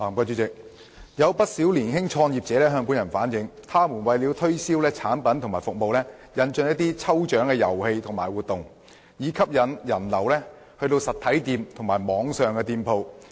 主席，有不少年輕創業者向本人反映，他們為了推銷產品和服務，引進了一些抽獎遊戲和活動，以吸引人流到訪實體或網上店鋪。